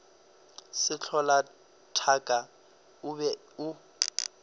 sehlola thaka o be o